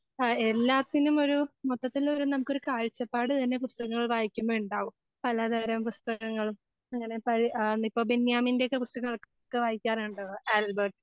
ആ എല്ലാത്തിനുമൊരു മൊത്തത്തിലൊരു നമുക്കൊരു കാഴ്ചപ്പാടുതന്നെ പുസ്തകങ്ങൾ വായിക്കുമ്പോ ഉണ്ടാവും. പലതരം പുസ്തകങ്ങൾ അങ്ങനെ പഴയ ഇപ്പോ ബെന്യാമിൻ്റെ ഒക്കെ പുസ്തകങ്ങളൊക്കെ വായിക്കാറുണ്ടോ ആൽബർട്ട്?